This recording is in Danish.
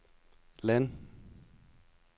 land